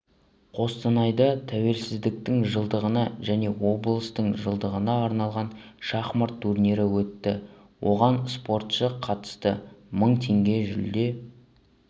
қостанайда тәуелсіздіктің жылдығына және облыстың жылдығына арналған шахмат турнирі өтті оған спортшы қатысты мың теңге жүлде